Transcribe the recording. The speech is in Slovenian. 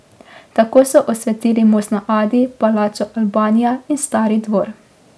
Tako so osvetlili most na Adi, palačo Albanija in Stari dvor.